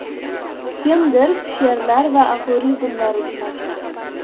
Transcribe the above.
Kimdir she’rlar va aforizmlar uchun ochadi.